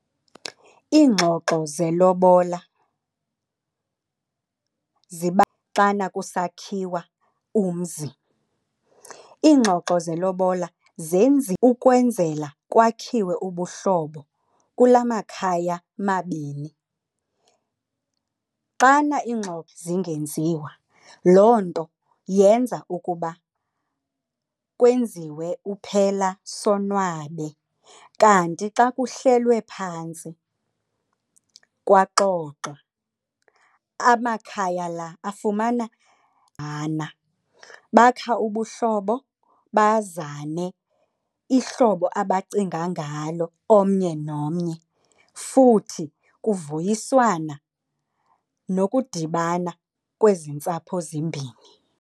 Iingxoxo zelobola xana kuso sakhiwa umzi. Iingxoxo lelobola ukwenzela kwakhiwe ubuhlobo kula makhaya mabini. Xana iingxoxo zingenziwa loo nto yenza ukuba kwenziwe uphela sonwabe kanti xa kuhlelwe phantsi kwaxoxwa amakhaya laa afumana . Bakhe ubuhlobo bazane ihlobo abacinga ngalo omnye nomnye futhi kuvuyiswana nokudibana kwezi ntsapho zimbini.